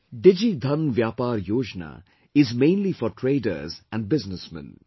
'Digi Dhan Vyapar Yojana' is mainly for traders and businessmen